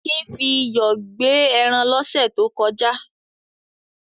kin fi iyọ̀ gbẹ ẹran lọ́sẹ̀ tó kọjá.